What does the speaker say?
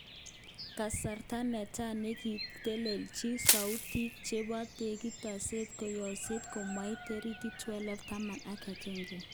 Kasrta netai nekitelelchin soutik chebo tiketishek koyooksek komait torikit 12 tama agenge.